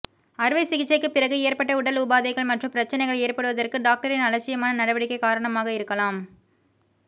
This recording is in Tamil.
அறுவை சிகிச்சைக்குப் பிறகு ஏற்பட்ட உடல் உபாதைகள் மற்றும் பிரச்சனைகள் ஏற்படுவதற்கு டாக்டரின் அலட்சியமான நடவடிக்கை காரணமாக இருக்கலாம்